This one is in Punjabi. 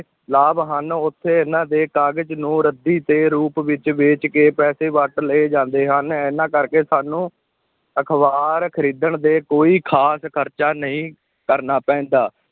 ਲਾਭ ਹਨ, ਉੱਥੇ ਇਨ੍ਹਾਂ ਦੇ ਕਾਗਜ਼ ਨੂੰ ਰੱਦੀ ਦੇ ਰੂਪ ਵਿਚ ਵੇਚ ਕੇ ਪੈਸੇ ਵੱਟ ਲਏ ਜਾਂਦੇ ਹਨ, ਇਹਨਾ ਕਰਕੇ ਸਾਨੂੰ ਅਖ਼ਬਾਰ ਖ਼ਰੀਦਣ 'ਤੇ ਕੋਈ ਖ਼ਾਸ ਖ਼ਰਚ ਨਹੀਂ ਕਰਨਾ ਪੈਂਦਾ।